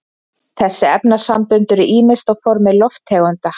þessi efnasambönd eru ýmist á formi lofttegunda